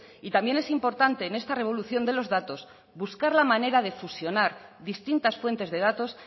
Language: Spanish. y también es importante en esta revolución de los datos buscar la manera de fusionar distintas fuentes de datos